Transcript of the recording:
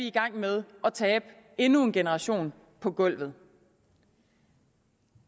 i gang med at tabe endnu en generation på gulvet